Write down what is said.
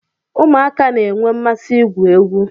Ụmụaka na-enwe mmasị igwu egwu